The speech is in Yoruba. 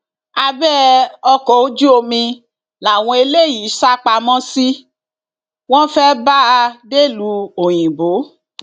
abẹ ọkọ ojú omi làwọn eléyìí sá pamọ sí wọn fẹẹ bá a dẹlúu òyìnbó